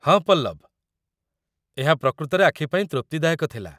ହଁ ପଲ୍ଲବ! ଏହା ପ୍ରକୃତରେ ଆଖିପାଇଁ ତୃପ୍ତିଦାୟକ ଥିଲା